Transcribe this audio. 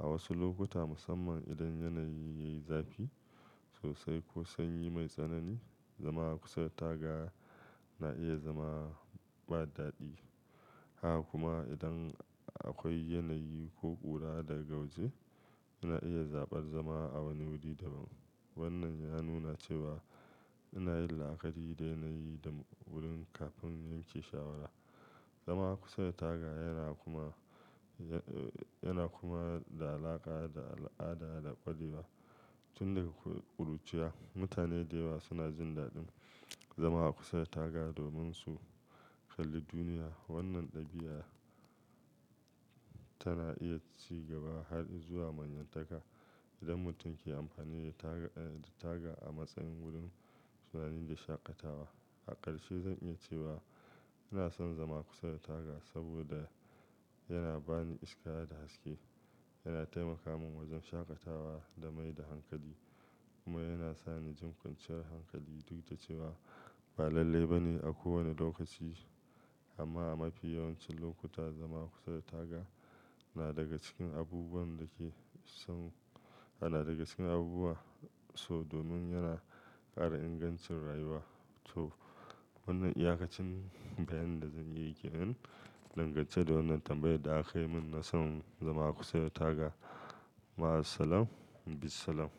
A wasu lokuta, musamman idan yanayi yayi zafi sosai ko sanyi mai tsanani, zama kusa da taga na iya zama ba daɗi. Haka kuma idan akwai yanayi ko ƙura daga waje, ina iya zaɓar zama a wani wuri daban. Wannan ya nuna cewa ina yin la'akari da yanayi da wurin kafin yanke shawara. Zama kusa da taga yana kuma, yana kuma da alaƙa da al'ada da ƙwarewa Tun daga ƙuruciya, mutane da yawa suna jin daɗin zama a kusa da taga domin su kalli duniya. Wannan ɗabi'a tana iya ci gaba har zuwa manyan taka idan mutum ke amfani da taga, da taga a matsayin wurin tunani da shaƙatawa. A ƙarshe zan iya cewa ina son zama kusa da taga saboda yana bani iska da haske, yana taimaka min wajen shaƙatawa da mai da hankali, kuma yana sa ni jin kwanciyar hankali duk da cewa ba lalle ba ne a kowane lokaci. Amma a mafi yawancin lokuta zama kusa da taga na daga cikin abubuwan da ke son, ana daga cikin abubuwa sau domin yana ƙara ingancin rayuwa. To wannan iyaƙacin bayani da zan iya yi kenan dangace da wannan tambayar da aka yi mun na son zama kusa da taga. Ma'asalama, bi salama.